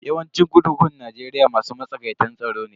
Yawancin kurkukun Najeriya masu matsakaitan tsaro ne.